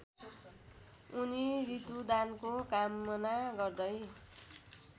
उनी ऋतुदानको कामना गर्दै